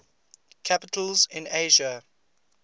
capitals in asia